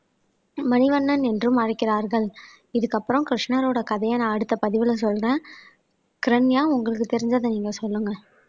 மணிவண்ணன் என்றும் அழைக்கிறார்கள் இதுக்கு அப்புறம் கிருஷ்ணரோட கதையை நான் அடுத்த பதிவுல சொல்றேன் கிரண்யா உங்களுக்கு தெரிஞ்சதை நீங்க சொல்லுங்க